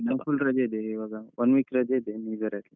ಹೌದ್ ನನ್ಗ್ full ರಜೆ ಇದೆ ಈವಾಗ one week ರಜೆ ಇದೆ new year ಅಲ್ಲಿ.